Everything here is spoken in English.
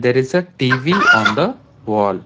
There is a T_V on the wall.